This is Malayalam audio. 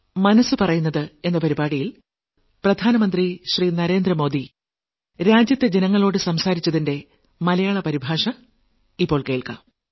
മനസ്സ് പറയുന്നത് നാലാം ലക്കം